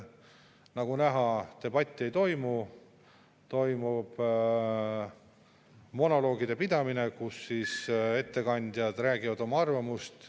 Nagu näha, debatti ei toimu, vaid toimub monoloogide pidamine, kus ettekandjad oma arvamust.